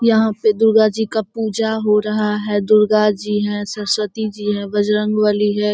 यहां पे दुर्गा जी का पूजा हो रहा है दुर्गा जी है सरस्‍वती जी है बजरंग बली है।